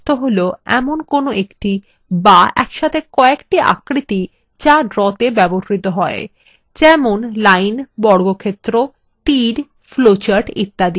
object শব্দটির অর্থ কোনো একটি the একসাথে কয়েকটি আকৃতি the drawthe ব্যবহৃত হয় যেমন lines বর্গক্ষেত্র তীর flowcharts ইত্যাদি